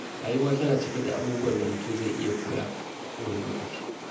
Rayuwa tana cike da abubuwan da mutum zai iya koya a kowane lokaci.